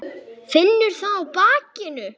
Finnur það á bakinu.